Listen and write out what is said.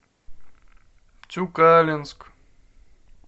тюкалинск